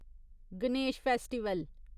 Ganesh festival